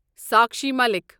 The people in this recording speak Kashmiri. ساکشی ملک